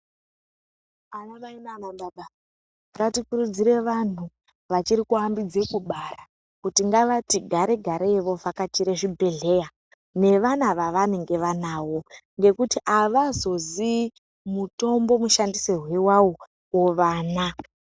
Anamayi nanababa, ngatikurudzire vanhu vachiri kuhambidze kubara, kuti ngavati gare gareyi, vovhakachire zvibhedhleya, nevana vavanenge vanawo, ngekuti avazoziyi mutombo mushandisire wawo vana.